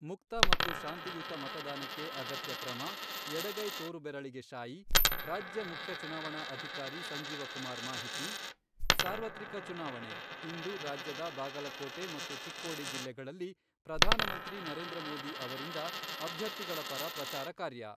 ಮುಕ್ತ ಮತ್ತು ಶಾಂತಿಯುತ ಮತದಾನಕ್ಕೆ ಅಗತ್ಯ ಕ್ರಮ, ಎಡಗೈ ತೋರು ಬೆರಳಿಗೆ ಶಾಯಿ ರಾಜ್ಯ ಮುಖ್ಯ ಚುನಾವಣಾ ಅಧಿಕಾರಿ ಸಂಜೀವ ಕುಮಾರ್ ಮಾಹಿತಿ, ಸಾರ್ವತ್ರಿಕ ಚುನಾವಣೆ , ಇಂದು ರಾಜ್ಯದ ಬಾಗಲಕೋಟೆ ಮತ್ತು ಚಿಕ್ಕೋಡಿ ಜಿಲ್ಲೆಗಳಲ್ಲಿ ಪ್ರಧಾನಮಂತ್ರಿ ನರೇಂದ್ರ ಮೋದಿ ಅವರಿಂದ ಅಭ್ಯರ್ಥಿಗಳ ಪರ ಪ್ರಚಾರ ಕಾರ್ಯ